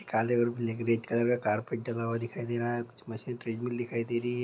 Carpenter दिखाई दे रहा है कुछ मशीन दिखाई दे रही है।